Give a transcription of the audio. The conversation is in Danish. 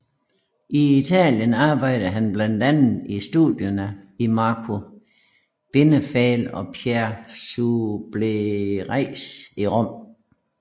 I Italien arbejdede han blandt andre i studierne i Marco Benefial og Pierre Subleyras i Rom